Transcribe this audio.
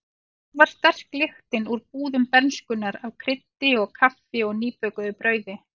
Hvar var sterk lyktin úr búðum bernskunnar af kryddi og kaffi og nýbökuðu brauði?